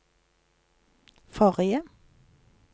forrige